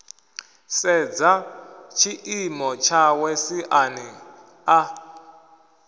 sedza tshiimo tshawe siani ḽa